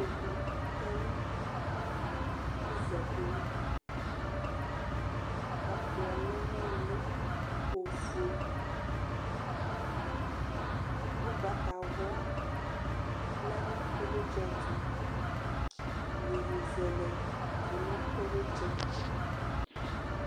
Ikpokʋ tɛnʋ iza dini ɛkplɔ ofue lɛnʋ ili kʋ ʋgbatawla lɛnʋ ilitsɛ ɛtʋ iyeye zɛlɛ tʋnʋ ilitsɛ